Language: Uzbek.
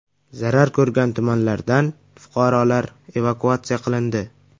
Zarar ko‘rgan tumanlardan fuqarolar evakuatsiya qilindi.